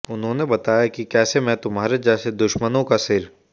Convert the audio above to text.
उन्होंने बताया कि कैसे मैं तुम्हारे जैसे दुश्मनों का सिर